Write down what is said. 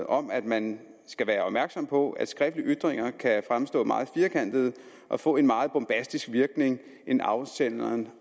om at man skal være opmærksom på at skriftlige ytringer kan fremstå meget firkantede og få en mere bombastisk virkning end afsenderen